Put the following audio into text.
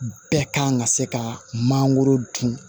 Bɛɛ kan ka se ka mangoro dun